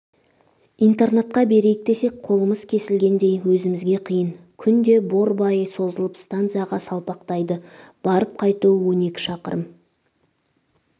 интернатқа берейік десек қолымыз кесілгендей өзімізге қиын күнде борбайы созылып станцияға салпақтайды барып-қайтуы он екі шақырым